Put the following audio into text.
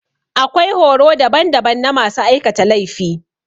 Akwai horo daban daban na masu aikata laifi.